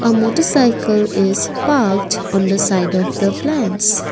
a motarcycle is parked on the side of the plants.